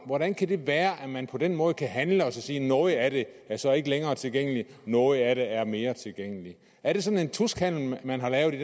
hvordan kan det være at man på den måde kan handle og sige at noget af det så ikke længere er tilgængeligt og noget af det er mere tilgængeligt er det sådan en tuskhandel man har lavet i